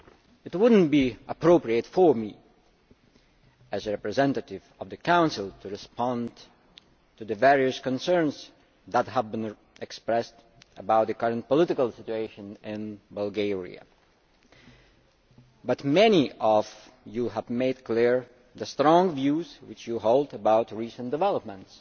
It would not be appropriate for me, as a representative of the Council, to respond to the various concerns that have been expressed about the current political situation in Bulgaria, but many of you have made clear the strong views which you hold about recent developments